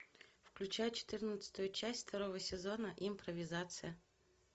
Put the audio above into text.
включай четырнадцатую часть второго сезона импровизация